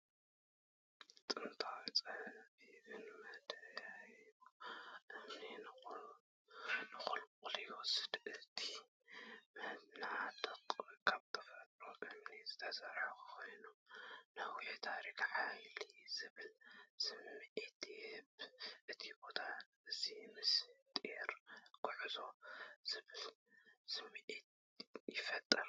ጥንታውን ጸቢብን መደያይቦ እምኒ ንቑልቁል ይወስድ። እቲ መናድቕ ካብ ተፈጥሮኣዊ እምኒ ዝተሰርሐ ኮይኑ፡ ነዊሕ ታሪኽን ሓይልን ዝብል ስምዒት ይህብ። እዚ ቦታ እዚ “ምስጢርን ጉዕዞን” ዝብል ስምዒት ይፈጥር።